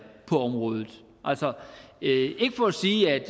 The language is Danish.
på området altså ikke for at sige at